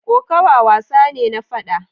Kokawa wasa ne na fada.